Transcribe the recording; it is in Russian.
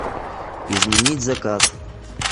изменить заказ